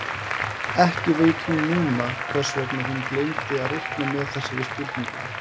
Ekki veit hún núna hvers vegna hún gleymdi að reikna með þessari spurningu.